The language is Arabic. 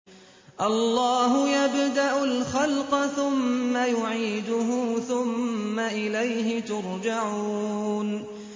اللَّهُ يَبْدَأُ الْخَلْقَ ثُمَّ يُعِيدُهُ ثُمَّ إِلَيْهِ تُرْجَعُونَ